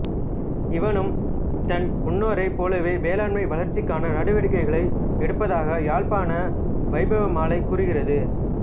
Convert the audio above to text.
இவனும் தன் முன்னோரைப் போலவே வேளாண்மை வளர்ச்சிக்கான நடவடிக்கைகளை எடுத்ததாக யாழ்ப்பாண வைபவமாலை கூறுகிறது